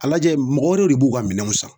A lajɛ mɔgɔ wɛrɛw de b'u ka minɛnw san